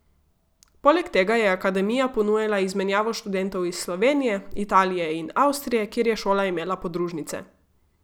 Poleg tega je akademija ponujala izmenjavo študentov iz Slovenije, Italije in Avstrije, kjer je šola imela podružnice.